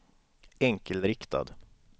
enkelriktad